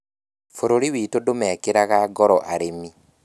Bũrũri witũ ndũmeekĩraga ngoro arĩmi